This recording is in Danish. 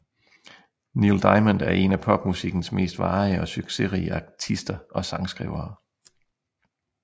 Neil Diamond er en af popmusikkens mest varige og succesrige artister og sangskrivere